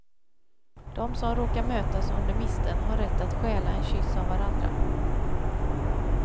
De som råkar mötas under misteln har rätt att stjäla en kyss av varandra.